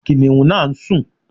Kìnnìún náà ń sùn.